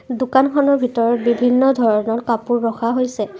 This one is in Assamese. দোকানখনৰ ভিতৰত বিভিন্ন ধৰণৰ কাপোৰ ৰখা হৈছে।